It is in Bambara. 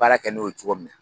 Baara kɛ n'o YE cogo min na.